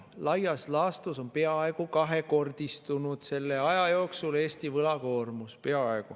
Laias laastus on peaaegu kahekordistunud selle aja jooksul Eesti võlakoormus.